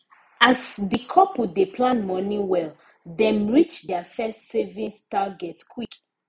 as the couple dey plan money well dem reach their first savings target quick